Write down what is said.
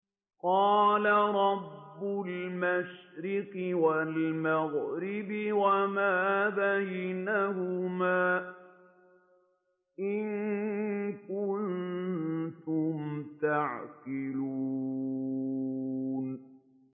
قَالَ رَبُّ الْمَشْرِقِ وَالْمَغْرِبِ وَمَا بَيْنَهُمَا ۖ إِن كُنتُمْ تَعْقِلُونَ